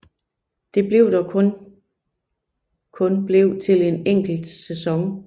Det blev dog kun blev til en enkelt sæson